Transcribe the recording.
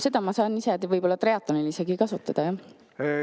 Seda ma saan isegi triatlonil kasutada.